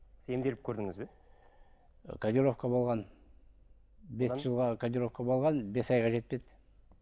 емделіп көрдіңіз бе ы кодировка болған бес жылға кодировка болған бес айға жетпеді